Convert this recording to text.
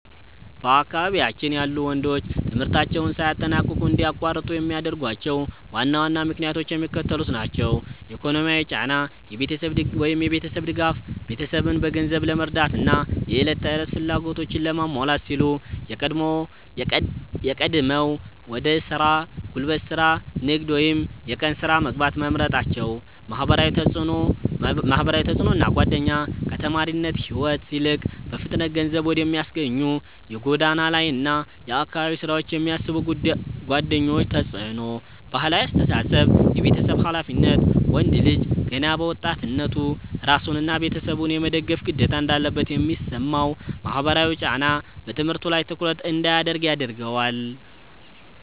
በአካባቢያችን ያሉ ወንዶች ትምህርታቸውን ሳያጠናቅቁ እንዲያቋርጡ የሚያደርጓቸው ዋና ዋና ምክንያቶች የሚከተሉት ናቸው፦ ኢኮኖሚያዊ ጫና (የቤተሰብ ድጋፍ)፦ ቤተሰብን በገንዘብ ለመርዳትና የዕለት ተዕለት ፍላጎቶችን ለማሟላት ሲሉ ቀድመው ወደ ሥራ (ጉልበት ሥራ፣ ንግድ ወይም የቀን ሥራ) መግባት መምረጣቸው። ማህበራዊ ተጽዕኖና ጓደኛ፦ ከተማሪነት ሕይወት ይልቅ በፍጥነት ገንዘብ ወደሚያስገኙ የጎዳና ላይና የአካባቢ ሥራዎች የሚስቡ ጓደኞች ተጽዕኖ። ባህላዊ አስተሳሰብ (የቤተሰብ ኃላፊነት)፦ ወንድ ልጅ ገና በወጣትነቱ ራሱንና ቤተሰቡን የመደገፍ ግዴታ እንዳለበት የሚሰማው ማህበራዊ ጫና በትምህርቱ ላይ ትኩረት እንዳያደርግ ያደርገዋል።